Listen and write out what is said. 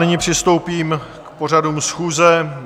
Nyní přistoupím k pořadu schůze.